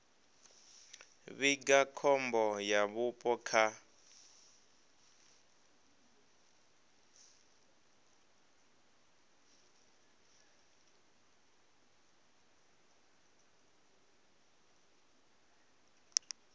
vhiga khombo ya vhupo kha